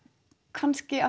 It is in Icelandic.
kannski